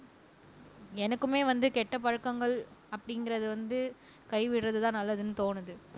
எனக்குமே வந்து கெட்ட பழக்கங்கள் அப்படிங்கிறது வந்து கை விடுறதுதான் நல்லதுன்னு தோணுது